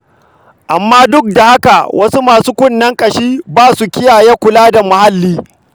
Amma duk da haka wasu masu kunnen ƙashi ba sa kiyaye kula da muhalli.